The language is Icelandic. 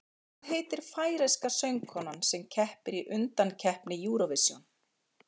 Hvað heitir færeyska söngkonan sem keppir í undankeppni Eurovision?